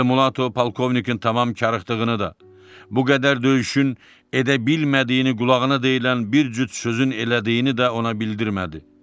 Elmulato polkovnikin tamam karıxdığını da, bu qədər döyüşün edə bilmədiyini qulağına deyilən bir cüt sözün elədiyini də ona bildirmədi.